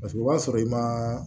Paseke o b'a sɔrɔ i ma